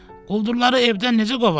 Quldurları evdən necə qovaq?